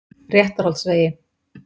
Réttarholtsvegi